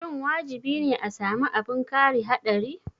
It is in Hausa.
Shin wajibi ne a sami abin kari haɗari?